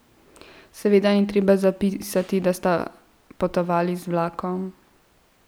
Seveda ni treba zapisati, da sta potovali z vlakom.